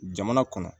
Jamana kɔnɔ